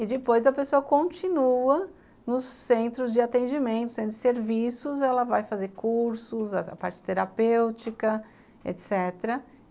E depois a pessoa continua nos centros de atendimento, centro de serviços, ela vai fazer cursos, a parte terapêutica, etc.